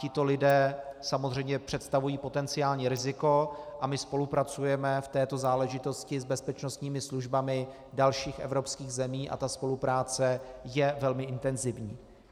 Tito lidé samozřejmě představují potenciální riziko a my spolupracujeme v této záležitosti s bezpečnostními službami dalších evropských zemí a ta spolupráce je velmi intenzivní.